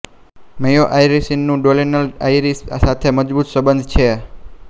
મેયો આયરિશનું Donegal Irish સાથે મજબૂત બંધન છે